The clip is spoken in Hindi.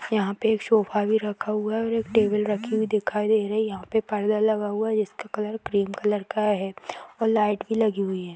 यहाँ पे एक सोफा भी रखा हुआ है और एक टेबल रखी हुई दिखाई दे रही है। यहाँ पे पर्दा लगा हुआ है जिसका कलर क्रीम कलर का है और लाइट भी लगी हुई हैं।